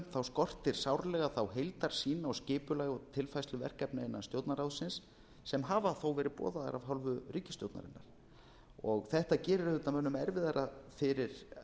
nefndarálitinu skortir sárlega þá heildarsýn á skipulag og tilfærslu verkefna innan stjórnarráðsins sem hafa þó verið boðaðar af hálfu ríkisstjórnarinnar þetta gerir mönnum auðvitað erfiðara fyrir